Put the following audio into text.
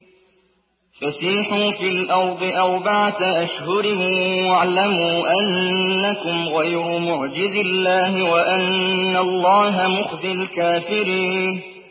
فَسِيحُوا فِي الْأَرْضِ أَرْبَعَةَ أَشْهُرٍ وَاعْلَمُوا أَنَّكُمْ غَيْرُ مُعْجِزِي اللَّهِ ۙ وَأَنَّ اللَّهَ مُخْزِي الْكَافِرِينَ